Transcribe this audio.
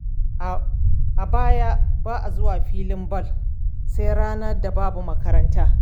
A baya ba a zuwa filin ball sai ranar da babu makaranta.